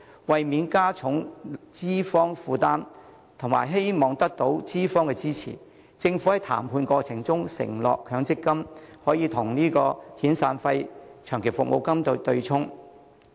為免加重資方負擔及希望得到資方支持，政府在談判過程中承諾強積金可與遣散費及長期服務金對沖。